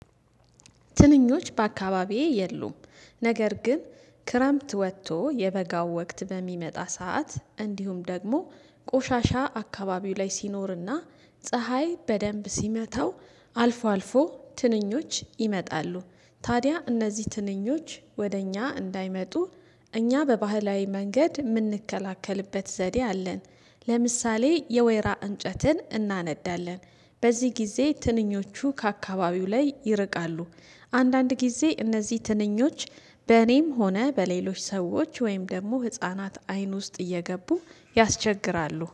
ትንኞች በአካባቢዬ የሉም። ነገር ግን ክረምት ወጥቶ የበጋው ወቅት በሚመጣ ሰዓት እንዲሁም ደግሞ ቆሻሻ አካባቢው ላይ ሲኖርና ፀሀይ በደንብ ሲመታው አልፎ አልፎ ትንኞች ይመጣሉ ታዲያ እነዚህ ትንኞች ወደ እኛ እንዳይመጡ እኛ በባህላዊ መንገድ የምንከላከልበት ዘዴ አለን ለምሳሌ የወይራ እንጨትን እናነዳለን፣ በዚህ ጊዜ ትንኞቹ ከአካባቢው ላይ ይርቃሉ አንዳንድ ጊዜ እነዚህ ትንኞች በኔም ሆነ በሌሎች ሰዎች ወይም ደግሞ ህፃናት አይን ውስጥ እየገቡ ያስቸግራሉ